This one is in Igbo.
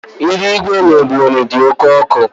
Ihu igwe n'Ebonyi dị oke ọkụ